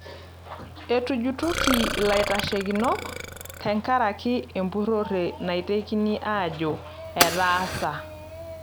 Etujutoki laiteshekinok tenkaraki empurore naitekini ajo etaasa.